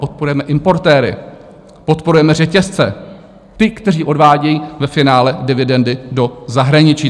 Podporujeme importéry, podporujeme řetězce, ty, kteří odvádějí ve finále dividendy do zahraničí.